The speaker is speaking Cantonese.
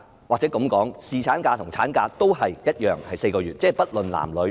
姑勿論侍產假或產假，都是一樣的，都是4個月，而且不論男、女。